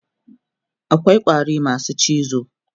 akwai ƙwari masu cizo